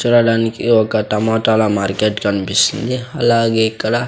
చూడడానికి ఒక టమాటాల మార్కెట్ కనిపిస్తుంది అలాగే ఇక్కడ--